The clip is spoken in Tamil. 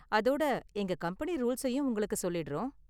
அதோட எங்க கம்பெனி ரூல்ஸையும் உங்களுக்கு சொல்லிடுறோம்.